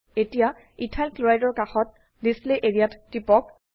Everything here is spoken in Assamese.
এতিয়া ইথাইল ক্লৰাইড ৰ কাষত ডিছপ্লে এৰিয়া ত টিপক